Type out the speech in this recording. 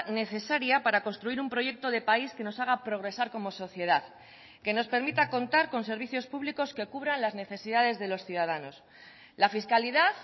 necesaria para construir un proyecto de país que nos haga progresar como sociedad que nos permita contar con servicios públicos que cubran las necesidades de los ciudadanos la fiscalidad